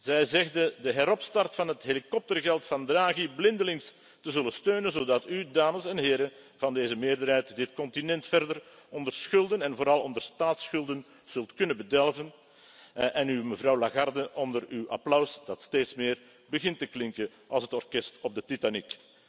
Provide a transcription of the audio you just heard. Zij zegde de heropstart van het helikoptergeld van Draghi blindelings te zullen steunen, zodat u, dames en heren van deze meerderheid, dit continent verder onder schulden en vooral onder staatsschulden zult kunnen bedelven, en mevrouw Lagarde onder uw applaus dat steeds meer begint te klinken als het orkest op de Titanic.